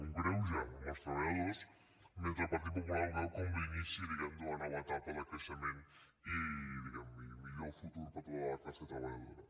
un greuge als treballadors mentre que el partit popular la veu com l’inici diguem ne d’una nova etapa de creixement i millor futur per a tota la classe treballadora